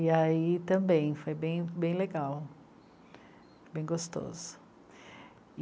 E aí também foi bem, bem legal, bem gostoso.